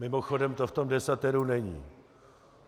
Mimochodem, to v tom desateru není.